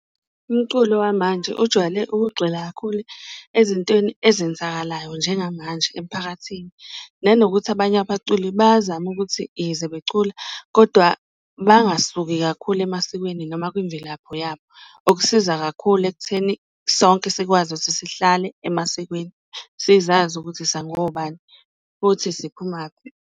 Umculo wamanje ujwayele ukugxila kakhulu ezintweni ezenzakalayo njengamanje emiphakathini, nanokuthi abanye abaculi bayazama ukuthi ize becula kodwa bangasuki kakhulu emasikweni noma kwimvelapho yabo. Okusiza kakhulu ekutheni sonke sikwazi ukuthi sihlale emasikweni, sizazi ukuthi sangobani futhi siphumaphi.